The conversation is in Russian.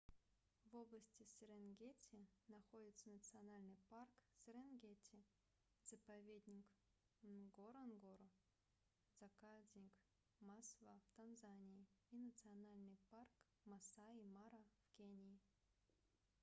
в области серенгети находятся национальный парк серенгети заповедник нгоронгоро заказник масва в танзании и национальный парк маасай мара в кении